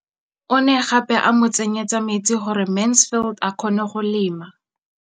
O ne gape a mo tsenyetsa metsi gore Mansfield a kgone go lema.